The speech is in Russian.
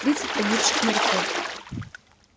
тридцать погибших моряков